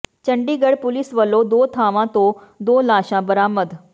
Chandigarh police ਵੱਲੋਂ ਦੋ ਥਾਵਾਂ ਤੋਂ ਦੋ ਲਾਸ਼ਾਂ ਬਰਾਮਦ